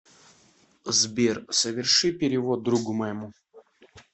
сбер соверши перевод другу моему